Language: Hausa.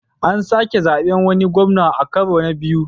An sake zaɓen wani gwamna a karo na biyu.